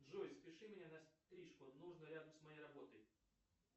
джой запиши меня на стрижку нужно рядом с моей работой